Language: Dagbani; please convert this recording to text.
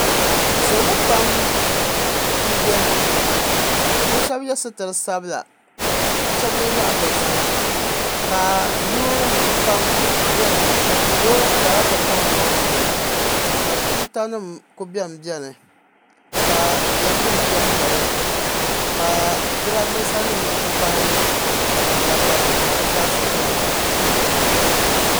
Salo pam m beni bɛ shebi ye sitiri sabla ka shebi ye zaɣa dozima ka loori nima pam beni loori kara ti pahi loori bihi ka tuuta nima kuli benbeni ka lɛmnima benbeni ka jirambisa nima ti pahi ya baligu ka dizaasa beni.